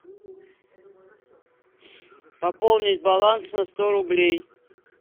пополнить баланс на сто рублей